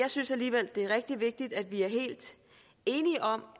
synes alligevel at det er rigtig vigtigt at vi er helt enige om